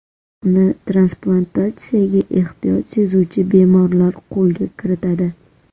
Uni transplantatsiyaga ehtiyoj sezuvchi bemorlar qo‘lga kiritadi.